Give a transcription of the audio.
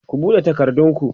ku buɗe takardun ku!